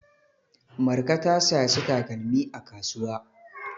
Marka ta saci takalmi a kasuwa.